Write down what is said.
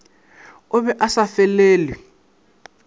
o be a sa felelwe